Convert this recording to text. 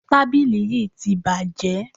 Tábìlì yí ti bàjé.